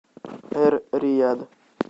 эр рияд